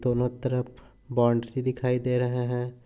दोनो तरफ बाउंड्री दिखाई दे रहे है।